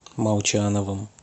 молчановым